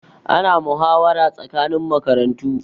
Ana muhawara tsakanin makarantu